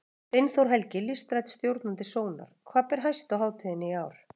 Steinþór Helgi, listrænn stjórnandi Sónar, hvað ber hæst á hátíðinni í ár?